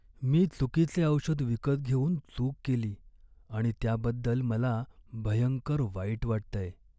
मी चुकीचे औषध विकत घेऊन चूक केली आणि त्याबद्दल मला भयंकर वाईट वाटतंय.